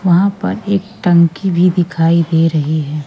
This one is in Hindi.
वहां पर एक टंकी भी दिखाई दे रही है